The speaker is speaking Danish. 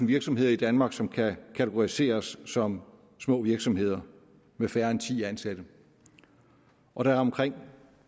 virksomheder i danmark som kan kategoriseres som små virksomheder med færre end ti ansatte og der er omkring